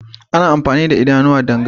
Ana amfani da idanu don gani.